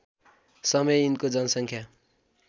समय यिनको जनसङ्ख्या